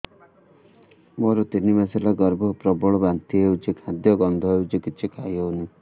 ମୋର ତିନି ମାସ ହେଲା ଗର୍ଭ ପ୍ରବଳ ବାନ୍ତି ହଉଚି ଖାଦ୍ୟ ଗନ୍ଧ ହଉଚି କିଛି ଖାଇ ହଉନାହିଁ